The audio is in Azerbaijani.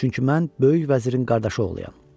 Çünki mən böyük vəzirin qardaşı oğluyam.